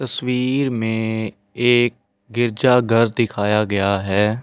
तस्वीर में एक गिरजाघर दिखाया गया है जिन।